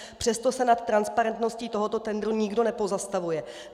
Přesto se nad transparentností tohoto tendru nikdo nepozastavuje.